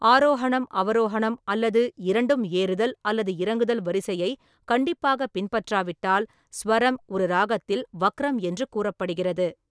ஆரோஹனம், அவரோஹனம் அல்லது இரண்டும் ஏறுதல் அல்லது இறங்குதல் வரிசையை கண்டிப்பாக பின்பற்றாவிட்டால், சுவரம் ஒரு ராகத்தில் வக்ரம் என்று கூறப்படுகிறது.